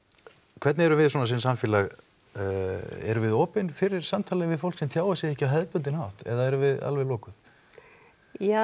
hvernig erum við svona sem samfélag erum við opin fyrir samtali við fólk sem tjáir sig ekki á hefðbundinn hátt eða erum við alveg lokuð ja